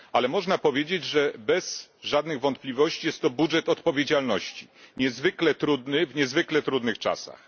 Ale można powiedzieć bez żadnych wątpliwości, że jest to budżet odpowiedzialności niezwykle trudny, w niezwykle trudnych czasach.